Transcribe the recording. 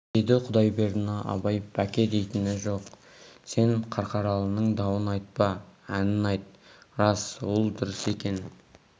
деді құдайбердіні абай бәке дейтін жоқ сен қарқаралының дауын айтпа әнін айт рас ол дұрыс екен